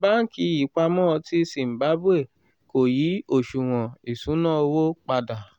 banki ìpamọ́ ti zimbabwe kò yí òṣuwọn ìṣúnná owó padà.